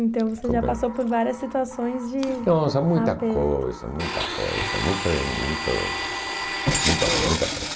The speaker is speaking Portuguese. Então você já passou por várias situações de... aperto. Não, são muitas coisas, muitas coisas, muitas, muitas, muitas muitas coisas.